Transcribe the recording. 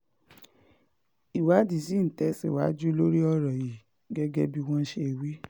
ìwádìí ṣì ń tẹ̀síwájú lórí ọ̀rọ̀ yìí gẹ́gẹ́ bí wọ́n ṣe wí